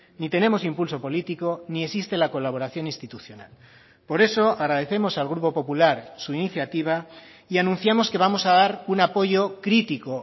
ni tenemos impulso político ni existe la colaboración institucional por eso agradecemos al grupo popular su iniciativa y anunciamos que vamos a dar un apoyo crítico